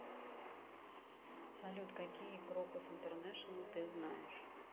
салют какие крокус интернешнл ты знаешь